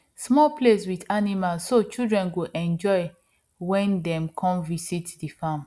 small place with animals so children go enjoy when dem come visit the farm